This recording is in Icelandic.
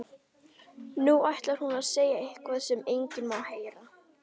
Nú ætlar hún að segja eitthvað sem enginn má heyra.